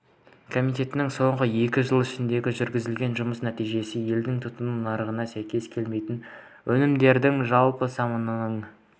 комитеттің соңғы екі жыл ішінде жүргізілген жұмыс нәтижесі елдің тұтыну нарығында сәйкес келмейтін өнімдердің жалпы санының